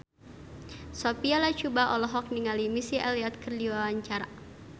Sophia Latjuba olohok ningali Missy Elliott keur diwawancara